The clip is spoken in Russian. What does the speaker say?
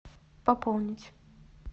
пополнить